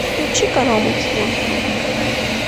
включи канал мультимузыка